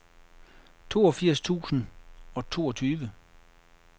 toogfirs tusind og toogtyve